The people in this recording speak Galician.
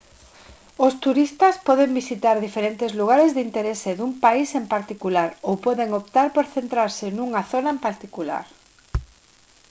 os turistas poden visitar diferentes lugares de interese dun país en particular ou poden optar por centrarse nunha zona en particular